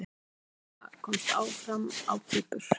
Ragna komst áfram á Kýpur